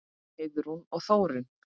Heiðrún og Þórunn.